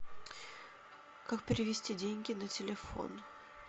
как перевести деньги на телефон